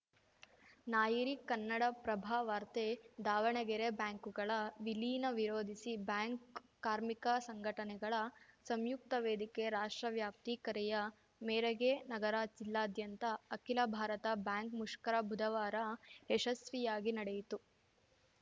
ನಾಯರಿ ಕನ್ನಡಪ್ರಭವಾರ್ತೆ ದಾವಣಗೆರೆ ಬ್ಯಾಂಕುಗಳ ವಿಲೀನ ವಿರೋಧಿಸಿ ಬ್ಯಾಂಕ್‌ ಕಾರ್ಮಿಕ ಸಂಘಟನೆಗಳ ಸಂಯುಕ್ತ ವೇದಿಕೆ ರಾಷ್ಟ್ರವ್ಯಾಪ್ತಿ ಕರೆಯ ಮೇರೆಗೆ ನಗರ ಜಿಲ್ಲಾದ್ಯಂತ ಅಖಿಲ ಭಾರತ ಬ್ಯಾಂಕ್‌ ಮುಷ್ಕರ ಬುಧವಾರ ಯಶಸ್ವಿಯಾಗಿ ನಡೆಯಿತು